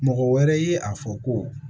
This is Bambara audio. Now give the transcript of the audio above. Mɔgɔ wɛrɛ ye a fɔ ko